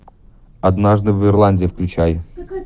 однажды в ирландии включай